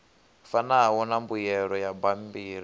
fanaho na mbuyelo ya bammbiri